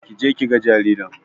Kije kiga jaririn